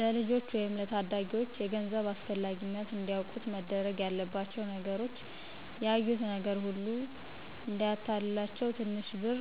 ለልጆች ወይም ለታዳጊዎች የገንዘብ አስፈላጊነት እንዲያውቁት መደረግ ያለባቸው ነገሮች ያዩት ነገር ሁሉ እዳያታልላቸው ትንሽ ብር